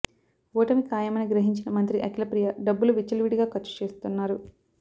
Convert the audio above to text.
ఓటమి ఖాయమని గ్రహించిన మంత్రి అఖిలప్రియ డబ్బులు విచ్చలవిడిగా ఖర్చు చేస్తున్నారు